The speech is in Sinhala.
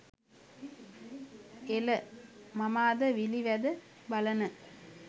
එල මම අද විළි වැද බලන